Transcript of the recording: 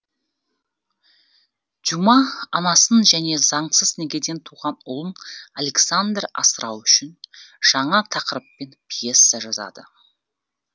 дюма анасын және заңсыз некеден туған ұлын александр асырау үшін жаңа тақырыппен пьеса жазады